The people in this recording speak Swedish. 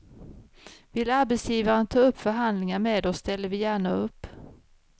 Vill arbetsgivaren ta upp förhandlingar med oss ställer vi gärna upp.